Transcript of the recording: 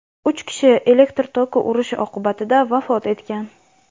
uch kishi elektr toki urishi oqibatida vafot etgan.